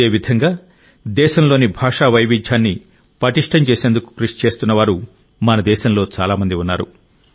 ఇదేవిధంగా దేశంలోని భాషా వైవిధ్యాన్ని పటిష్టం చేసేందుకు కృషి చేస్తున్నవారు మన దేశంలో చాలా మంది ఉన్నారు